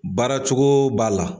Baara cogo b'a la